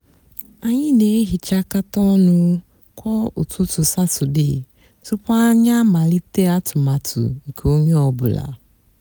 ányị nà-èhichákátá ónụ kwá ụtụtụ satọde túpú ányị àmálíté atụmatụ nkè ónyé ọ bụlà.